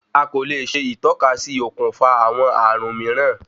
Akòle ṣe ìtọ́kasí okùnfà àwọn ààrùn míìrán.